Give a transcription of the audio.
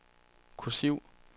kursiv